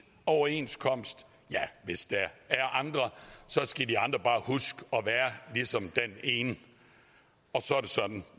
overenskomst hvis der er andre skal de andre bare huske at være ligesom den ene og så er det sådan